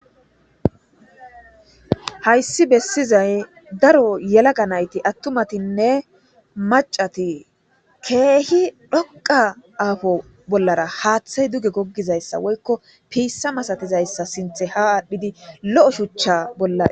Hayisi besizayisi daro atuma nayitinne yelagga nayit kehi dhoqa apo bolara haaththeyi duge gogizayisa woyikko pisa masatizayisa sinththe adhidi lo shuchcha bola